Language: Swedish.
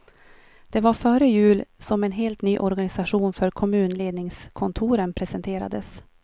Det var före jul som en helt ny organisation för kommunledningskontoren presenterades.